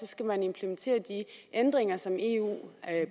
skal man implementere de ændringer som eu